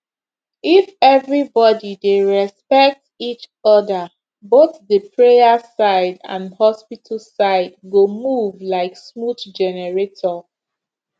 if everybody dey respect each other both the prayer side and hospital side go move like smooth generator